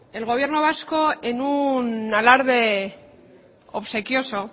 el gobierno vasco en un alarde obsequioso